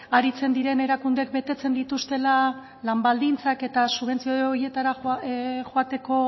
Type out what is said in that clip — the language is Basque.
aritzen diren erakundeek betetzen dituztela lan baldintzak eta subentzio horietara joateko